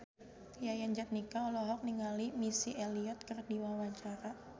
Yayan Jatnika olohok ningali Missy Elliott keur diwawancara